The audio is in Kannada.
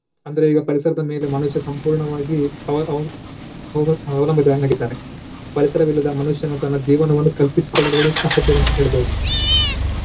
ಅಂದ್ರೆ ಈಗ ಪರಿಸರದ ಮೇಲೆ ಮನುಷ್ಯ ಸಂಪೂರ್ಣವಾಗಿ ಅವ್~ ಅವ್~ ಅವ~ ಅವಲಂಬಿತವಾಗಿದ್ದಾನೆ. ಪರಿಸರವಿಲ್ಲದ ಆ ಮನುಷ್ಯನು ತನ್ನ ಜೀವನವನ್ನು ಕಲ್ಪಿಸಿಕೊಳ್ಳುವುದು ಕೂಡ ಅಸಾಧ್ಯ ಅಂತ ಹೇಳ್ಬಹುದು.